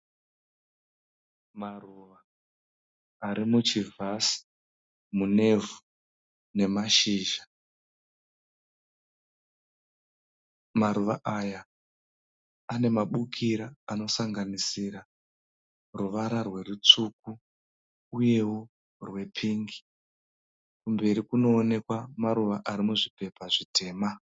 Maruva ari muchivhasi munevhu nemashizha. Maruva aya ane mabukira anosanganisira ruvara rwerutsvuku uyeo rwepingi. Kumberi kunoonekwa maruva arimuzvipepa zvitema.